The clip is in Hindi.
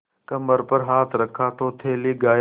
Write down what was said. कमर पर हाथ रखा तो थैली गायब